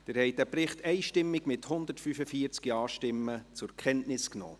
Sie haben diesen Bericht einstimmig, mit 145 Ja-Stimmen, zur Kenntnis genommen.